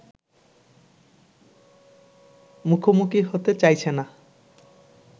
মুখোমুখি হতে চাইছে না